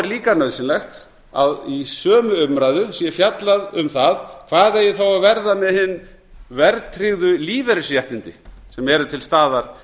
er líka nauðsynlegt að í sömu umræðu sé fjallað um það hvað eigi þá að verða með hin verðtryggðu lífeyrisréttindi sem eru til staðar